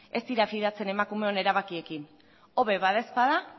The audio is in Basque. ez dira fidatzen emakumeon erabakiekin hobe bada ezpada